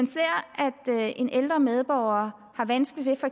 en ældre medborger har vanskeligt